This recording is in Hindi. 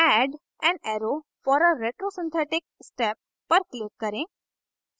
add an arrow for a retrosynthetic step पर click करें